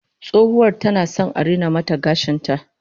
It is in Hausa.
Tsohuwar tana son a rina mata gashin ta